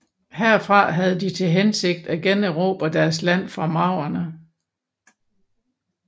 Herfra havde de til hensigt at generobre deres land fra maurerne